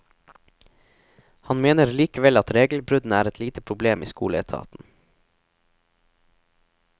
Han mener likevel at regelbruddene er et lite problem i skoleetaten.